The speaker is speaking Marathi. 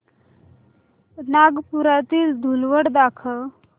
नागपुरातील धूलवड दाखव